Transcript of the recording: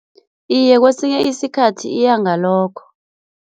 Iye, kwesinye isikhathi iya ngalokho.